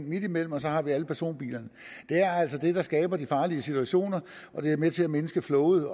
midtimellem og så har vi alle personbilerne det er altså det der skaber de farlige situationer og det er med til at mindske flowet